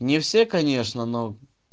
не все конечно но